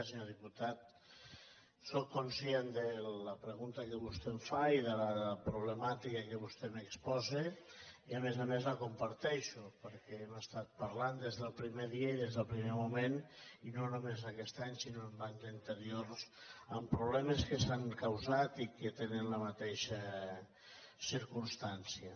senyor diputat sóc conscient de la pregunta que vostè em fa i de la problemàtica que vostè m’exposa i a més a més la comparteixo perquè hem estat parlant des del primer dia i des del primer moment i no només aquest any sinó anys anteriors amb problemes que s’han causat i que tenen la mateixa circumstància